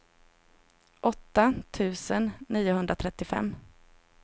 åtta tusen niohundratrettiofem